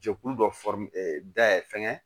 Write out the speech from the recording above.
Jɛkulu dɔ dayɛlɛ fɛnkɛ